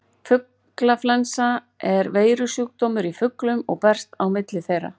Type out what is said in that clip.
Fuglaflensa er veirusjúkdómur í fuglum og berst á milli þeirra.